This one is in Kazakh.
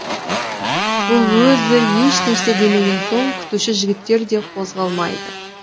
бұл өзі ешнәрсе демеген соң күтуші жігіттер де қозғалмайды